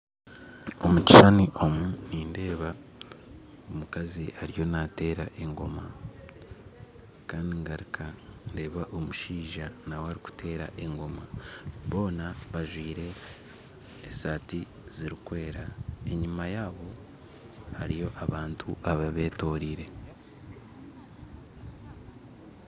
Omukishushani nindeeba omukazi ariyo nateera engoma Kandi ngaruka ndeeba omushaija nawe arikuteera engoma boona bajwaire esaati zirikwera enyuma yaabo hariyo abantu ababetoreire